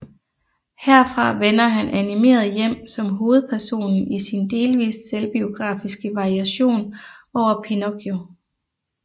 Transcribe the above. Herfra vender han animeret hjem som hovedpersonen i sin delvist selvbiografiske variation over Pinocchio